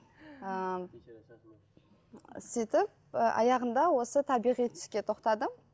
ы сөйтіп ы аяғында осы табиғи түске тоқтадым